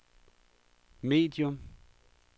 medium